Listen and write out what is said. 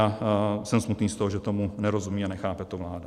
A jsem smutný z toho, že tomu nerozumí a nechápe to vláda.